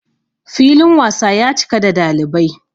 filin wasa ya cika da dalibai